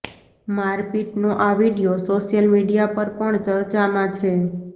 મારપીટનો આ video social media પર પણ ચર્ચામાં છે